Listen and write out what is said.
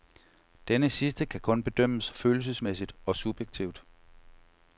Denne sidste kan kun bedømmes følelsesmæssigt og subjektivt.